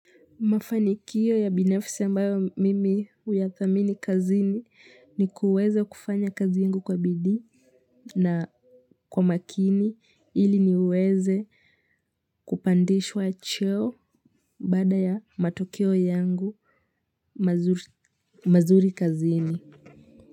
Mafanikio ya binafisi ambayo mimi huyathamini kazini ni kuweze kufanya kazi yangu kwa bidii na kwa makini ili niweze kupandishwa cheo baada ya matokeo yangu mazuri kazini.